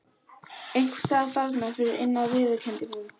Einhvers staðar þarna fyrir innan viðurkenndi hún.